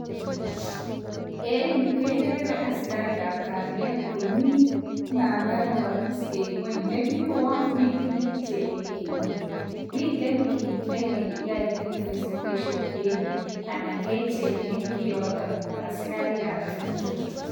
En yu kegere asikarik ab kalyet komi mama nekoribis en ngwony nemi koun mi ki ne kichenge en ngwony miten kit nekeyoe investigation en yu anan kechenge kioto asikarik ab kalyet